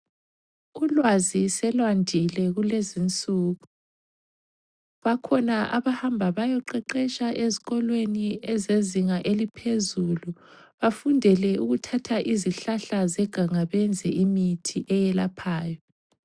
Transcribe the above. Ulwazi selwandile kulezinsuku. Bakhona abahamba bayeqeqesha ezikolweni ezezinga eliphezulu, bafundele ukuthatha izihlahla zeganga benze imithi elaphayo.